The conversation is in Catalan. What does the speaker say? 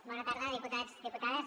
bona tarda diputats diputades